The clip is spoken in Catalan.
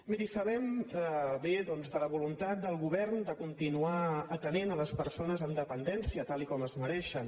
miri sabem bé de la voluntat del govern de continuar atenent les persones amb dependència tal com es mereixen